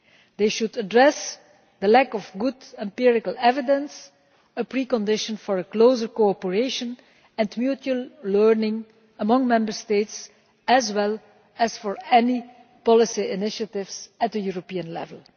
They should address the lack of good empirical evidence a precondition for closer cooperation and mutual learning among Member States, as well as for any policy initiatives at the European level.